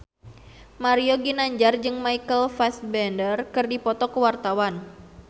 Mario Ginanjar jeung Michael Fassbender keur dipoto ku wartawan